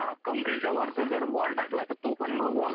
कमरेच्या वरती जर बॉल टाकला तर तो पण नो बॉल असतो.